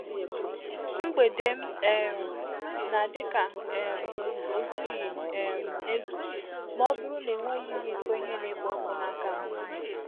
Mgbede m um na-adi ka um ozughị um ezu ma ọ bụrụ na-enweghị m iko ihe na-ekpo ọkụ n'aka m.